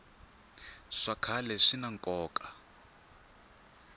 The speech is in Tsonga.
swa khale swina nkoka